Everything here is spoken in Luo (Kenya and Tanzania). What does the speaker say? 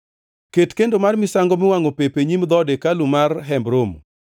Ket kendo mar misango miwangʼo pep e nyim dhood hekalu mar Hemb Romo;